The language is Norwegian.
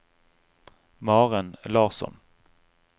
Maren Larsson